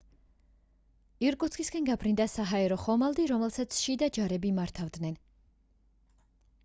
ირკუტსკისკენ გაფრინდა საჰაერო ხომალდი რომელსაც შიდა ჯარები მართავდნენ